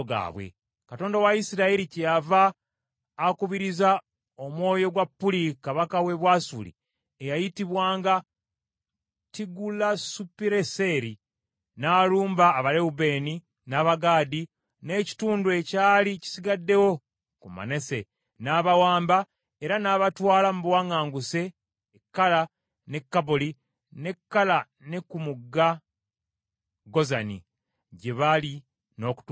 Katonda wa Isirayiri kyeyava akubiriza omwoyo gwa Puli kabaka w’e Bwasuli, eyayitibwanga Tirugazupiruneseri, n’alumba Abalewubeeni, n’Abagaadi n’ekitundu ekyali kisigaddewo ku Manase, n’abawamba era n’abatwala mu buwaŋŋanguse e Kala, n’e Kaboli, n’e Kaala ne ku mugga Gozani, gye bali n’okutuusa leero.